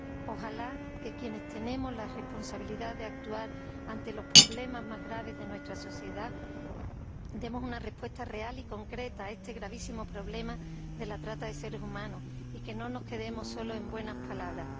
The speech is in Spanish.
Ojalá que quienes tenemos la responsabilidad de actuar ante los problemas más graves de nuestra sociedad demos una respuesta real y concreta a este gravísimo problema de la trata de seres humanos y que no nos quedemos sólo en buenas palabras.